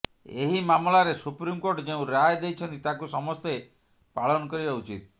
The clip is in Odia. ଏହି ମାମଲାରେ ସୁପ୍ରିମକୋର୍ଟ ଯେଉଁ ରାୟ ଦେଇଛନ୍ତି ତାକୁ ସମସ୍ତେ ପାଳନ କରିବା ଉଚିତ୍